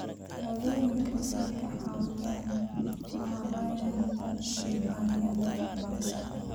Shahaadooyinku waxay ka caawiyaan maaraynta nidaamyada waxbarashada.